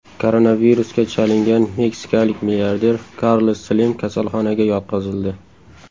Koronavirusga chalingan meksikalik milliarder Karlos Slim kasalxonaga yotqizildi.